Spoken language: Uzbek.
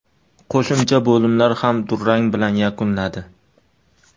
Qo‘shimcha bo‘limlar ham durang bilan yakunladi.